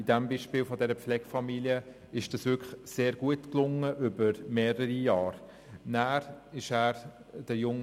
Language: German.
Im Beispiel dieser Pflegefamilie ist das wirklich über mehrere Jahre hinweg sehr gut gelungen.